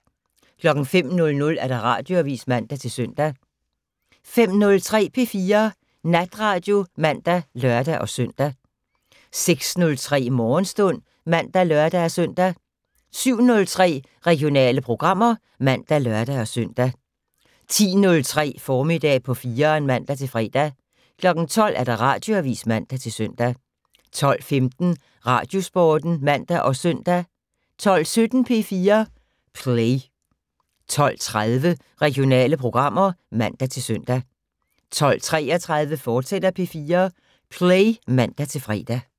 05:00: Radioavis (man-søn) 05:03: P4 Natradio (man og lør-søn) 06:03: Morgenstund (man og lør-søn) 07:03: Regionale programmer (man og lør-søn) 10:03: Formiddag på 4'eren (man-fre) 12:00: Radioavis (man-søn) 12:15: Radiosporten (man og søn) 12:17: P4 Play 12:30: Regionale programmer (man-søn) 12:33: P4 Play, fortsat (man-fre)